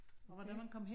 Ja